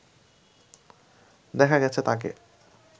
দেখা গেছে তাঁকে